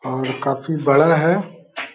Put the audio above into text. और काफी बड़ा है।